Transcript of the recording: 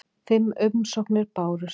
Fimm umsóknir bárust.